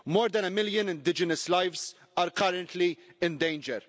More than a million indigenous lives are currently in danger.